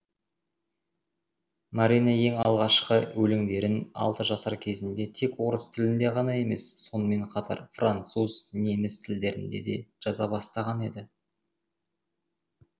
марина ең алғашқы өлеңдерін алты жасар кезінде тек орыс тілінде ғана емес сонымен қатар француз неміс тілдерінде де жаза бастаған еді